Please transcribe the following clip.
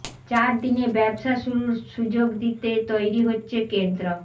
চার দিনে ব্যবসা শুরুর সুযোগ দিতে তৈরি হচ্ছে কেন্দ্র